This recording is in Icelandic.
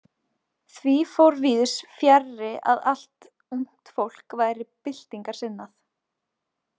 Því fór víðs fjarri að allt ungt fólk væri byltingarsinnað.